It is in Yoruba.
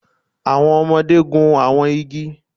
Awọn ọmọde gun awọn igi